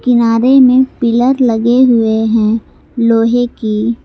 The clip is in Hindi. में पिलर लगे हुए हैं लोहे की।